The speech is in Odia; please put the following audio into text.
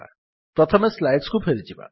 ପ୍ରଥମେ ସ୍ଲାଇଡ୍ସ କୁ ଫେରିଯିବା